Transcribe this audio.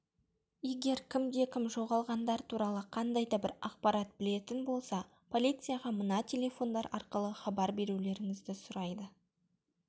егер кімде-кім жоғалғандар туралы қандайда бір ақпарат білетін болса полицияға мына телефондар арқылы хабар берулеріңізді сұрайды